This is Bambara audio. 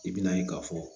I bina ye ka fɔ